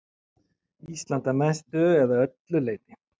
Ísland að mestu eða öllu leyti.